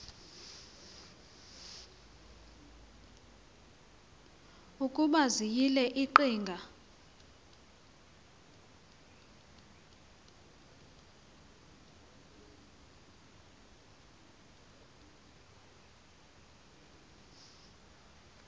ukuba ziyile iqhinga